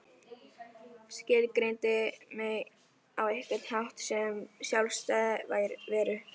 Skilgreindi mig á einhvern hátt sem sjálfstæða veru.